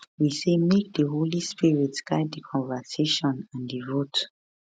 we say make di holy spirit guide di conversation and di vote